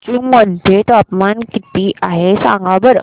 कोचीन मध्ये तापमान किती आहे सांगा बरं